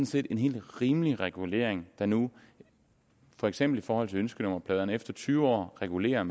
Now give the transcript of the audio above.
set en helt rimelig regulering der nu for eksempel i forhold til ønskenummerpladerne efter tyve år reguleres